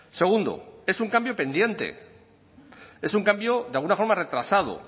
segundo es un cambio pendiente es un cambio de alguna forma retrasado